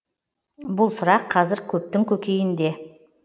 бұл сұрақ қазір көптің көкейінде